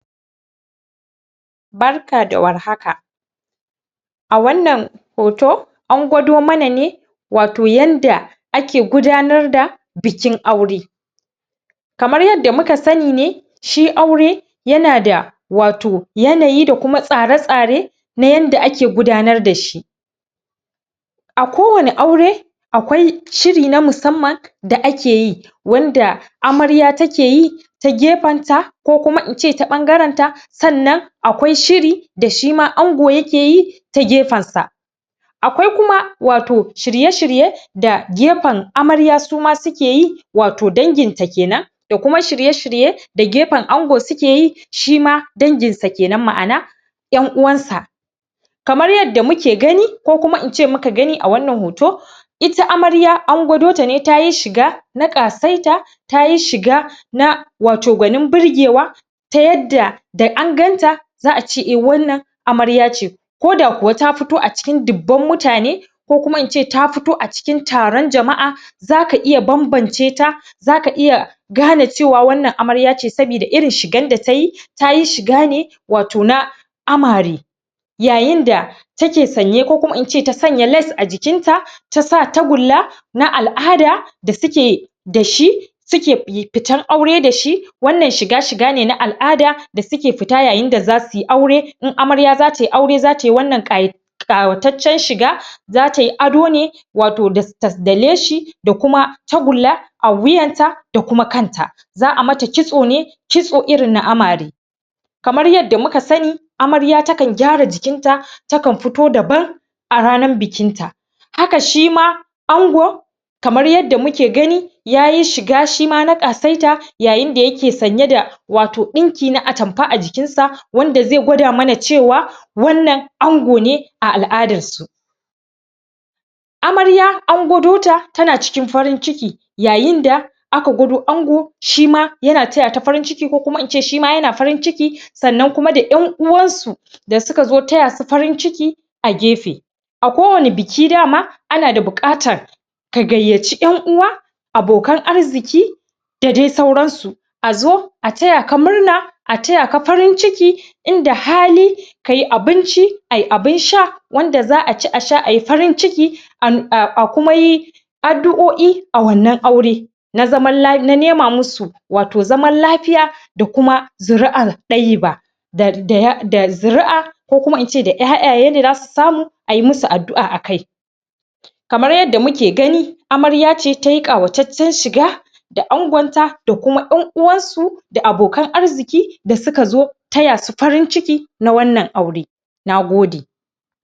Barka da warhaka! a wannan hoto an gwado mana ne wato yanda ake gudanar da bikin aure kamar yanda muka sanni ne shi aure yana da wato yanayi da kuma tsara-tsare na yanda ake gudanar dashi a ko wani aure akwai shiri na musamman da akeyi wanda amarya takeyi ta gefen ta ko kuma in ce ta ɓangaren ta sannan akwai shiri da shima ango yake yi ta gefen sa akwai kuma wato shirye-shirye da gefen amarya suma suke yi wato danginta kenan da kuma shirye-shirye da gefen ango sukeyi shima danginsa kenan ma'ana ƴan uwan sa kamar yadda muke gani ko kuma in ce muka gani a wannan hoto ita amarya an gwado ta ne tayi shiga na ƙasaita tayi shiga na wato gwanin burgewa ta yadda da an ganta za'a ce eh, wannan amarya ce koda kuwa ta fito acikin dubban mutane ko kuma in ce ta fito acikin taron jama'a zaka iya banbance ta zaka iya gane cewa wannan amarya ce saboda irin shigan data yi tayi shiga ne wato na amare yayin da take sanye ko kuma in ce ta sanya lace a jikinta tasa tagulla na al'ada da suke dashi suke yi.. fitar aure dashi wannan shiga, shiga ne na al'ada da suke fita yayin da zasu yi aure in in amarya zatai aure zata yi wannan ƙaya ƙawataccen shiga zatai ado ne wato da ta da leshi da kuma ta gulla a wuyanta da kuma kanta za'a mata kitso ne kitso irin na amare kamar yanda muka sanni amarya takan gyara jikin ta takan fito daban a ranan bikin ta haka shima ango kamar yadda muke gani yayi shiga shima na ƙasaita yayin da yake sanye da wato ɗinki na atamfa a jikin sa wanda zai gwada mana cewa wannan ango ne a al'adar su amarya an gwado ta tana cikin farin ciki yayin da aka gwado ango shima yana taya ta farin ciki ko kuma in ce shima yana farin ciki sannan kuma da ƴan uwan su da suka zo taya su farin ciki a gefe a ko wane biki dama ana da buƙatan ka gayyaci ƴan uwa abokan arziki da dai sauran su a zo a taya ka murna a taya ka farin ciki inda hali kai abinci ai abun sha wanda za'a ci a sha ai farin ciki an a a kuma yi addu'o'i a wannan aure na zaman la.. na nema musu wato zaman lafiya da kuma zuri'a ɗayyiba da.. da.. ya da zuri'a ko kuma ince da ƴaƴa ye da zasu samu ai musu addu'a a kai kamar yadda muke gani amarya ce tayi ƙawataccen shiga da angon ta da kuma ƴan uwan su da abokan arziki da suka zo taya su farin ciki na wannan aure Nagode!